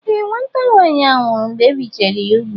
Ee, nwata nwaanyị ahụ nwụrụ mgbe ebichara ya ugwu.